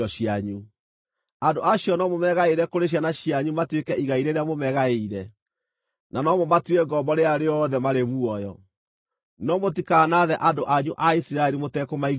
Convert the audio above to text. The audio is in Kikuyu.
Andũ acio no mũmeegaĩre kũrĩ ciana cianyu matuĩke igai rĩrĩa mũmagaĩire, na no mũmatue ngombo rĩrĩa rĩothe marĩ muoyo, no mũtikanaathe andũ anyu a Isiraeli mũtekũmaiguĩra tha.